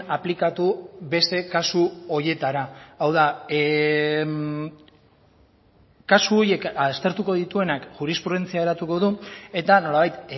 aplikatu beste kasu horietara hau da kasu horiek aztertuko dituenak jurisprudentzia eratuko du eta nolabait